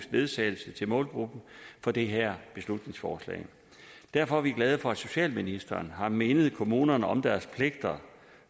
ledsagelse til målgruppen for det her beslutningsforslag derfor er vi glade for at socialministeren har mindet kommunerne om deres pligter